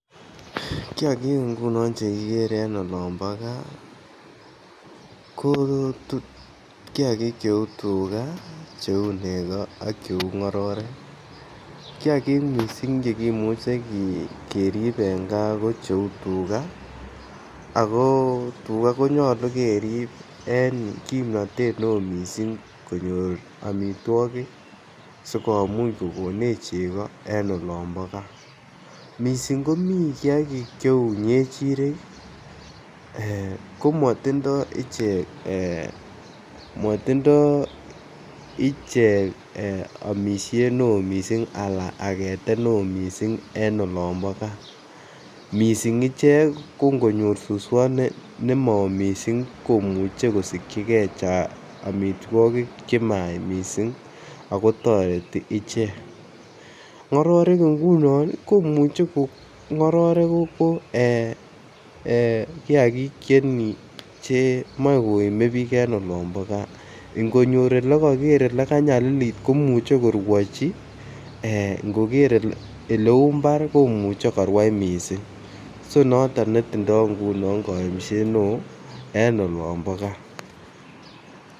Kiagik ngunon che kigere en olombo gaa ko kiagik che uu nego ak che uu ngororek, kiagik missing chekimuche kerib en gaa ko cheuu tuga ako tuga konyoluu kerib en kimnotet ne oo missing konyor omitwokik sikomuch kokonech chego en olombo gaa missing komii kiagik che uu ngechirek ii ee komotindo ichek motindo ichek omishet ne oo missing ala agetet ne oo missing en olombo gaa, missing ichek ko ngonyor suswot nemo oo missing komuche kosigyi gee omitwokik che mayach missing ako toreti ichek. Ngororek ngunon komuche ko ngororek ko ee kiagik che moi komie biik en olombo gaa ngonyor ole koger ole kanyalilit komuche korwochi ngoger ele uu mbar komuche korwai missing so noton netindo koimset ne oo en olombo gaa